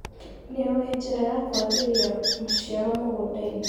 Nĩũĩ njĩra ya kwagĩria maciaro mũgundainĩ.